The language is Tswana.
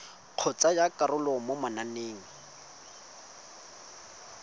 go tsaya karolo mo mananeng